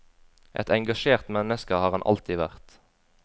Et engasjert menneske har han alltid vært.